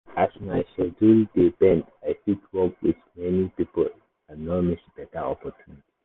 as my schedule dey bend i fit work with many people and no miss better opportunity.